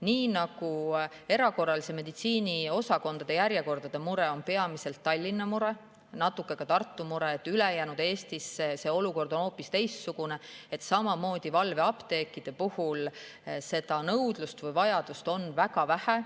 Nii nagu erakorralise meditsiini osakondade järjekordade mure on peamiselt Tallinna mure, natuke ka Tartu mure, ülejäänud Eestis on see olukord hoopis teistsugune, samamoodi on valveapteekide järele nõudlust või vajadust väga vähe.